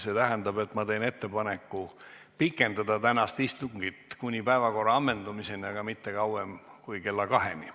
See tähendab, et ma teen ettepaneku pikendada tänast istungit kuni päevakorra ammendumiseni, aga mitte kauem kui kella kaheni.